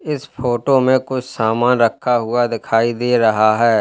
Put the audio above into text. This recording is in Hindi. इस फोटो में कुछ सामान रखा हुआ दिखाई दे रहा है।